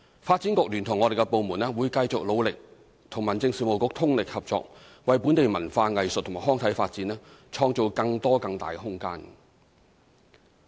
發展局聯同我們的部門，會繼續努力與民政事務局通力合作，為本地文化、藝術及康體發展，創造更多更大的空間。